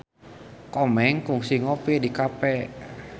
Komeng kungsi ngopi di cafe